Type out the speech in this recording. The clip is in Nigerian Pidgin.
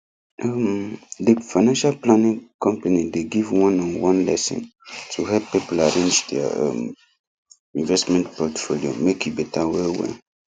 um the financial planning company dey give one on one lesson to help people arrange their um investment portfolio make e better well well